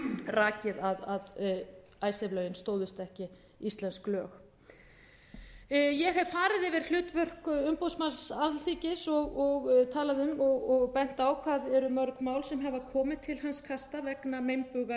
rakið að icesave lögin stóðust ekki íslensk lög ég hef farið yfir hlutverk umboðsmanns alþingis og talað um og bent á hvað eru mörg mál sem hafa komið til hans kasta vegna meinbuga í lagasetningu þannig að ég ætla